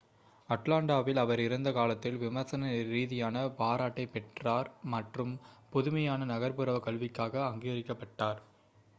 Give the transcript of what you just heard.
அட்லாண்டாவில் அவர் இருந்த காலத்தில் விமர்சன ரீதியான பாராட்டைப் பெற்றார் மற்றும் புதுமையான நகர்ப்புற கல்விக்காக அங்கீகரிக்கப்பட்டார்